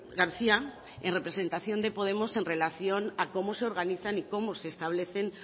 garcía en representación de podemos en relación a cómo se organizan y cómo se establecen